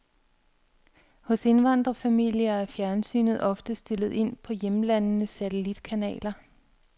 Hos indvandrerfamilier er fjernsynet ofte stillet ind på hjemlandenes satellitkanaler.